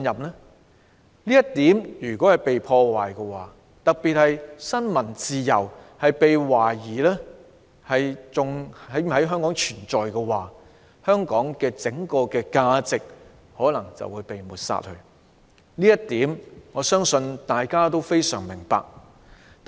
如果"一國兩制"受到破壞，特別是新聞自由一旦被懷疑是否還在香港存在的話，香港的整體價值便可能會被抹煞，這一點我相信大家都非常明白。